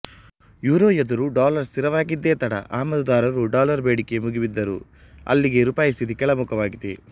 euro ಎದುರು dollar ಸ್ಥಿರವಾಗಿದ್ದೆ ತಡ ಆಮದುದಾರರು ಡಾಲರ್ ಬೇಡಿಕೆ ಮುಗಿಬಿದ್ದರು ಅಲ್ಲಿಗೆ ರುಪಾಯಿ ಸ್ಥಿತಿ ಕೆಳಮುಖವಾಗಿದೆ